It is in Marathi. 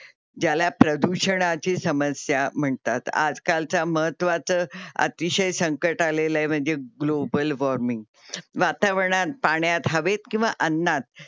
ज्याला प्रदूषणाची समस्या म्हणतात. आजकालचा महत्त्वाचा अतिशय संकट आलेलं आहे. म्हणजे ग्लोबल वार्मिंग global warming वातावरणात, पाण्यात, हवेत किंवा अन्‍नात ज्याला प्रदूषणाची समस्या म्हणतात.